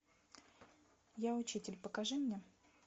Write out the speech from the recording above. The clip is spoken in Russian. я учитель покажи мне